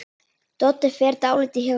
Doddi fer dálítið hjá sér.